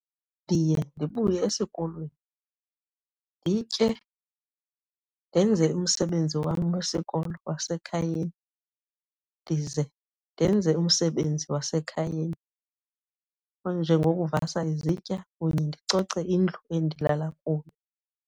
Ndiye ndibuye esikolweni nditye, ndenze umsebenzi wam wesikolo wasekhayeni, ndize ndenze umsebenzi wasekhayeni onjengokuvasa izitya kunye ndicoce indlu endilala kuyo.